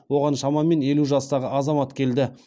оған шамамен елу жастағы азамат келді